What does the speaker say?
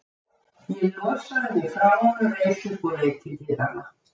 Ég losaði mig frá honum, reis upp og leit til dyranna.